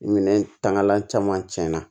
Ni minɛn tangalan caman cɛnna